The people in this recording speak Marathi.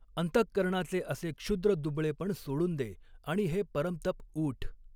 अंतःकरणाचे असे क्षुद्र दुबळेपण सोडून दे आणि हे परंतप ऊठ.